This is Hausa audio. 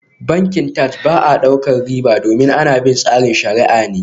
Bankin Taj ba sa daukar riba domin ana bin tsarin shariah ne